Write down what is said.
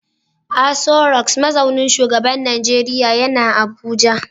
Aso Rock mazaunin shugaban Najeriya yana Abuja